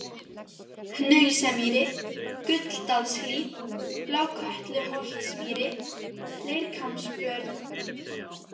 Hnausamýri, Gulldalshlíð, Blákötluholtsmýri, Leirkambsbörð